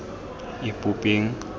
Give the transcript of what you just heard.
ipopeng